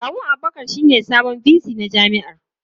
Kawun Abubakar shine sabon VC na jami'ar.